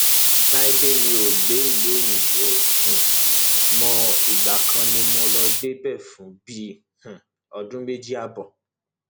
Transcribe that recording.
láìdè mi ò gbé ìlú òyìnbó um mọ ìgbà kan ni mo lọọ gbébẹ fún bíi um ọdún méjì ààbọ